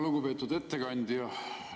Lugupeetud ettekandja!